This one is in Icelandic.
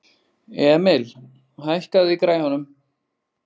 Emil, hækkaðu í græjunum.